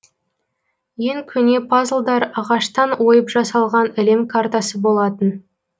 ең көне пазлдар ағаштан ойып жасалған әлем картасы болатын